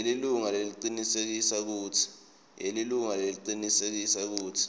yelilunga lecinisekisa kutsi